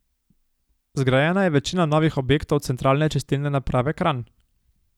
Zgrajena je večina novih objektov Centralne čistilne naprave Kranj.